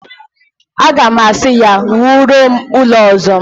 Aga m asị ya, wuoro m ụlọ ọzọ!